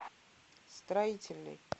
строительный